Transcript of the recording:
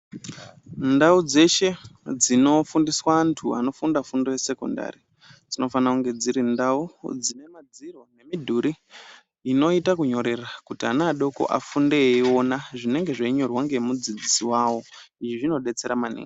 Ndau dzeshe dzinofundiswa antu anofunda fundo yesekondari dzinofana kunge dziri ndau dzine madziro nemudhuri inoita kunyorera kuti ana adoko afunde iona zvinenge zveinyorwa ngemudzidzisi wavo izvi zvinodetsera maningi.